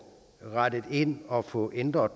rettet ind og få ændret